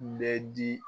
Bɛ di